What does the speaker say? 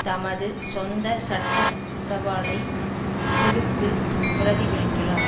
தமது சொந்த சட்ட சவாலை விடுத்து பிரதிபலிக்கலாம்